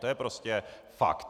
To je prostě fakt.